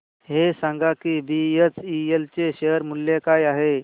हे सांगा की बीएचईएल चे शेअर मूल्य काय आहे